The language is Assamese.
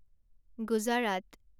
গুজৰাট